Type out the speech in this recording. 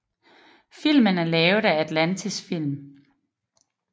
Filmen er lavet af Atlantis film